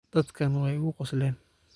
Dhadhkan way ikuqosleyn.